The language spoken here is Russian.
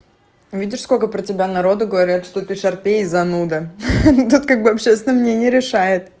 видишь сколько про тебя народу говорят что ты шарпей и зануда ха-ха тут как бы общественное мнение решает